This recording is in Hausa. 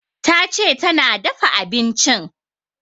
Tace tana dafa abincin